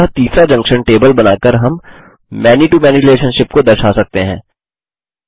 अतः तीसरा junction table बनाकर हम many to मैनी रिलेशनशिप्स को दर्शा सकते हैं